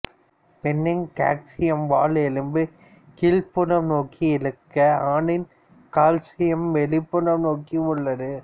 பெண்ணின் காக்சியம் வால் எலும்பு கீழ்ப்புறம் நோக்கி இருக்க ஆணின் காக்சியம் வெளிப்புறம் நோக்கி உள்ளது